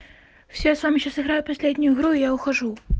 всё я с вами сейчас играю последнюю игру и я ухожу